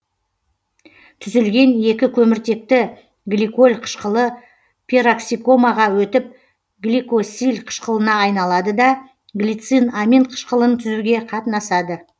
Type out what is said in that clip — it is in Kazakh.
түзілген екі көміртекті гликоль қышқылы пероксикомаға өтіп глиоксиль қышқылына айналады да глицин амин қышқылын түзуге қатынасады